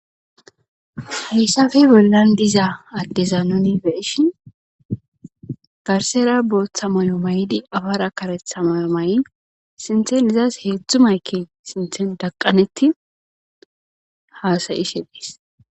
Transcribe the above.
hayssafe bollan diza addeza nuni beeshhin garsera booththa mayo maydi afara karetha mayo may7i sinthen izas heedzdzu mayke sinthen daqqanetti haasayi shelees